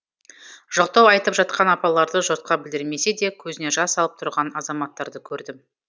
жоқтау айтып жатқан апаларды жұртқа білдірмесе де көзіне жас алып тұрған азаматтарды көрдім